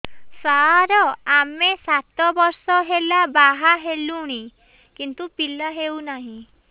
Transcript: ସାର ଆମେ ସାତ ବର୍ଷ ହେଲା ବାହା ହେଲୁଣି କିନ୍ତୁ ପିଲା ହେଉନାହିଁ